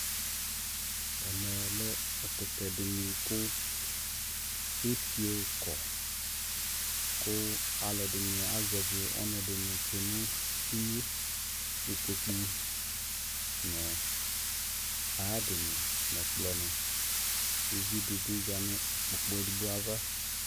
ɛmɛ lɛ ɛkʋtɛ dini kʋ ɛfiɔ kɔ kʋ alʋɛdini azɛvi ɔnʋ dini twɛ nʋ inyɛ, ikpɔkʋ nʋ ayiadini nʋ ɛkplɔ ni kʋ ʋvi dibi zanʋ ikpɔkʋ ɛdigbɔ aɣa